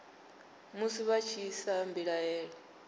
musi vha tshi isa mbilaelo